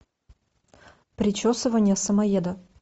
причесывание самоеда